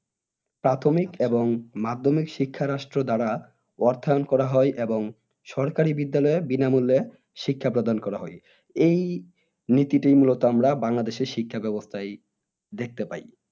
প্রাথমিক এবং মাধ্যমিক শিক্ষা রাষ্ট্র দ্বারা অর্থায়ন করা হয় এবং সরকারি বিদ্যালয়ে বিনামুল্যে শিক্ষা প্রদান করা হয় এই নীতিটি মূল আমরা বাংলাদেশের শিক্ষা ব্যবস্তায় দেখতে পাই